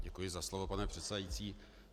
Děkuji za slovo, pane předsedající.